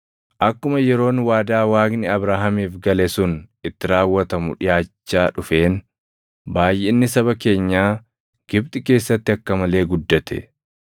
“Akkuma yeroon waadaa Waaqni Abrahaamiif gale sun itti raawwatamu dhiʼaachaa dhufeen baayʼinni saba keenyaa Gibxi keessatti akka malee guddate.